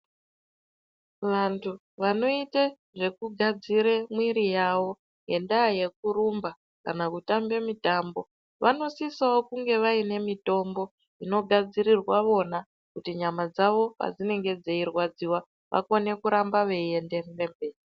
Vantu vanoite zvekugadzire mwiri yavo ngendaa yekurumba kana kutambe mutambo, vanosisa kunge vainewo mitombo inogadzirirwa vona kuti nyama dzavo padzinenge dzeirwadziwa vakone kuramba veienderere mberi.